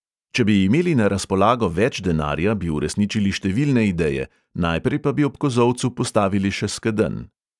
Če bi imeli na razpolago več denarja, bi uresničili številne ideje, najprej pa bi ob kozolcu postavili še skedenj.